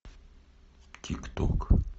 тик ток